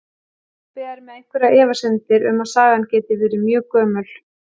Pabbi er með einhverjar efasemdir um að sagan geti verið mjög gömul.